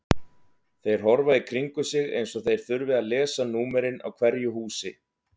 Þeir horfa í kringum sig eins og þeir þurfi að lesa númerin á hverju húsi.